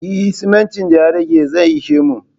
Eh simintin da ya rage zai ishe mu